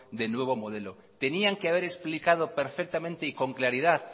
de nuevo modelo tenían que haber explicado perfectamente y con claridad